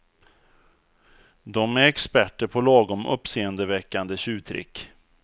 Dom är experter på lagom uppseendeväckande tjuvtrick.